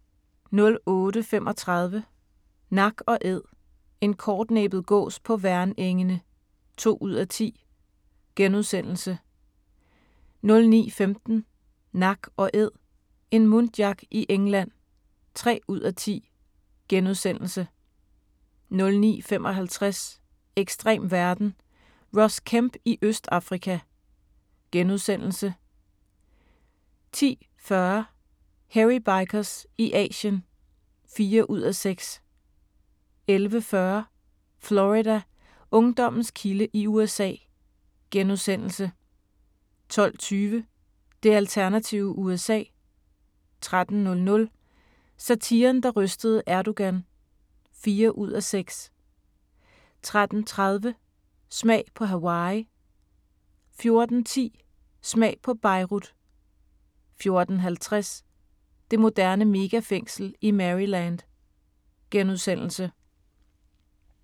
08:35: Nak & Æd – en kortnæbbet gås på Værnengene (2:10)* 09:15: Nak & æd - en muntjac i England (3:10)* 09:55: Ekstrem verden – Ross Kemp i Østafrika * 10:40: Hairy Bikers i Asien (4:6) 11:40: Florida: Ungdommens kilde i USA * 12:20: Det alternative USA 13:00: Satiren, der rystede Erdogan (4:6) 13:30: Smag på Hawaii 14:10: Smag på Beirut 14:50: Det moderne megafængsel i Maryland *